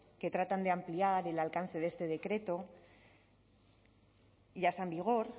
que tratan de ampliar el alcance de ese decreto ya está en vigor